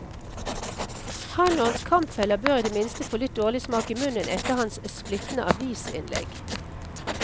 Han og hans kampfeller bør i det minste få litt dårlig smak i munnen etter hans splittende avisinnlegg.